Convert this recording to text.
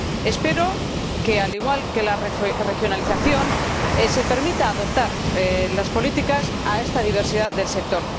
Espero que, al igual que la regionalización, se permita la adaptación de las políticas a esta diversidad del sector.